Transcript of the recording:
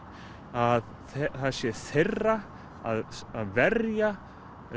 að það sé þeirra að verja